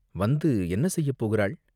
வந்து என்ன செய்யப் போகுறாள்?